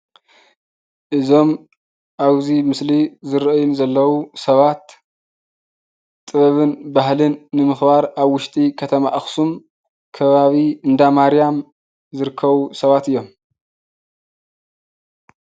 እዞም አብዚ ምስሊ ዝረእዩኒ ዘለዉ ሰባት ጥበብን ባህልን ንምኽባር አብ ውሽጢ ከተማ አክሱም ከባቢ እንዳ ማርያም ዝርከቡ ሰባት እዩም፡፡